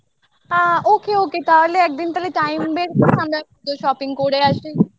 আ ok ok তাহলে একদিন তাহলে time বের করে আমরা তো shopping করে আসি